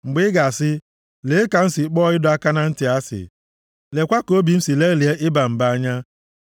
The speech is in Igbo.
Mgbe ị ga-asị, Lee ka m si kpọọ ịdọ aka na ntị asị! “Leekwa ka obi m si lelịa iba mba anya!